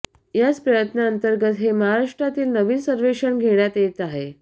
याच प्रयत्नांतर्गत हे महाराष्ट्रातील नवीन सर्वेक्षण घेण्यात येत आहे